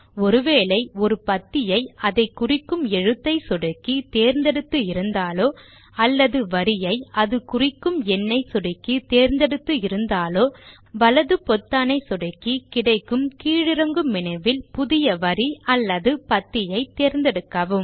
ஒரு வேளை ஒரு பத்தியை அதை குறிக்கும் எழுத்தை சொடுக்கி தேர்ந்தெடுத்து இருந்தாலோ அல்லது வரியை அதை குறிக்கும் எண்ணை சொடுக்கி தேர்ந்தெடுத்து இருந்தாலோ வலது பொத்தானை சொடுக்கி கிடைக்கும் கீழ் இறங்கும் மெனுவில் புதிய வரி அல்லது பத்தியை தேர்ந்தெடுக்கவும்